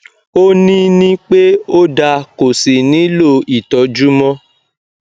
ó ní ní pé ó da kò sí nihlò ìtọjú mọ